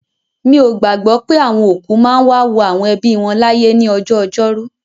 Mi ò gbàgbọ́ pé àwọn òkú máa ń wá wo àwọn ẹbí wọn láyè ní ọjọ́ Ọjọ́rú.